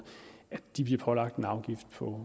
at de bliver pålagt en afgift på